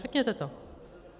Řekněte to.